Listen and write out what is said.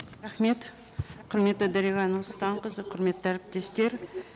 рахмет құрметті дариға нұрсұлтанқызы құрметті әріптестер